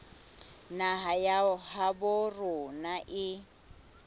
naha ya habo rona e